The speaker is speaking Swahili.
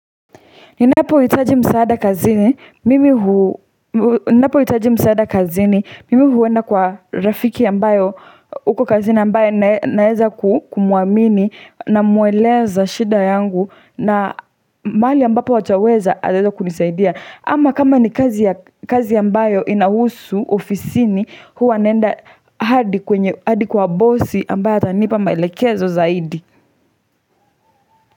Ninapo hitaji msaada kazini, mimi huenda kwa rafiki ambayo uko kazini ambaye naweza kumuamini namueleza shida yangu na mahali ambapo ataweza anaweza kunisaidia ama kama ni kazi ambayo inahusu ofisini huwa naenda hadi kwa bosi ambaye atanipa maelekezo zaidi.